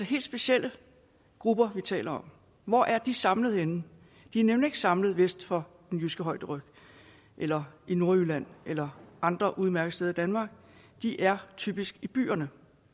helt specielle grupper vi taler om hvor er de samlet henne de er nemlig ikke samlet vest for den jyske højderyg eller i nordjylland eller andre udmærkede steder i danmark de er typisk i byerne